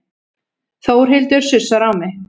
Þórhildur sussar á mig.